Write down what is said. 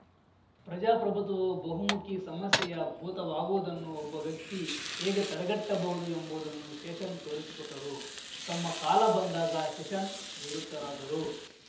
ಪ್ರಜಾಪ್ರಭುತ್ವವು ಬಹುಮುಖಿ ಸಮಸ್ಯೆಯ ಭೂತವಾಗುವುದನ್ನು ಒಬ್ಬ ವ್ಯಕ್ತಿ ಹೇಗೆ ತಡೆಗಟ್ಟಬಹುದು ಎಂಬುದನ್ನು ಶೇಷನ್‌ ತೋರಿಸಿಕೊಟ್ಟರು ತಮ್ಮ ಕಾಲ ಬಂದಾಗ ಶೇಷನ್‌ ನಿವೃತ್ತರಾದರು